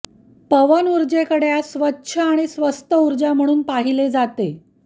पवनऊर्जेकडे आज स्वच्छ आणि स्वस्त ऊर्जा म्हणून पाहिले जाते